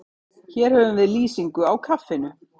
Hér höfum við lýsingu á kaffinu.